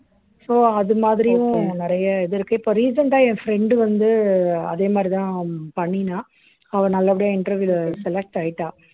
so அது மாதிரியும் நிறைய இது இருக்கு இப்ப recent ஆ என் friend வந்து அதே மாதிரிதான் பண்ணினா அவள் நல்லபடியா interview ல select ஆயிட்டாள்